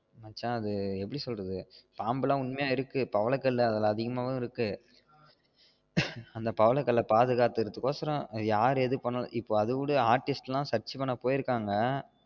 மச்சான் அது எப்டி சொல்றாது பாம்பு எல்லாம் உண்மையா இருக்கு பவள கல்லு அதிகமாவு இருக்கு அந்த பவள கள்ள பாதுகாக்குற கோசரம் அது யாரு எது பண்ணாலு இப்ப அத விடு artist எல்லாம் search பண்ண போயிருக்காங்க